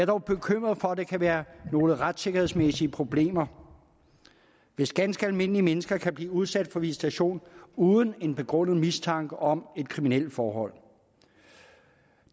dog bekymret for at der kan være nogle retssikkerhedsmæssige problemer hvis ganske almindelige mennesker kan blive udsat for visitation uden en begrundet mistanke om et kriminelt forhold